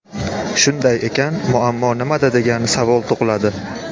Shunday ekan, muammo nimada degan savol tug‘iladi.